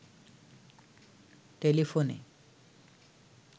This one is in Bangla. টেলিফোনে